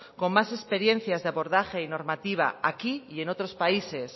con más experiencias de abordaje y normativa aquí y en otros países